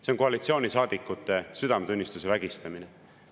See on koalitsioonisaadikute südametunnistuse vägistamine.